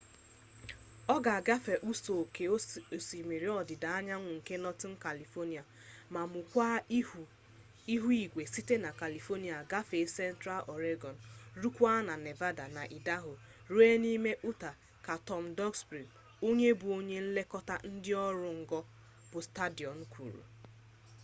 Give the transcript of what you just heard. ọ ga agafe ụsọ oke osimiri ọdịda anyanwụ nke northern kalifonia ma mukekwaa ihu igwe site na kalifonia gafee central ọregọn rukwaa na nevada na idaho ruo n'ime utah ka tom duxbury onye bụ onye nlekọta ndị ọrụ ngo bụ staadọst kwuru